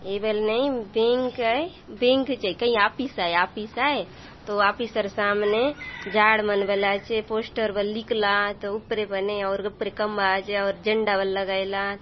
ए बर ले बैंक आए बैंक् जाइके ऑफिस आए तो ऑफिसर सामने झाड माल मला चे पोस्टर वर निकलत --]